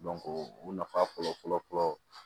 u nafa fɔlɔ fɔlɔ fɔlɔ